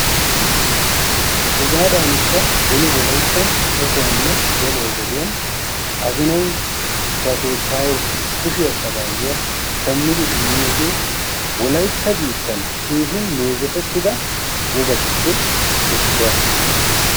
Hegaadankka beni wolayttan ekkuwanne geluwa wodiyan azinay ba keettaayeessi kushiya sagayuwa shammidi immiyogee wolaytta biittan keehin meezetettida wogatuppe issuwa.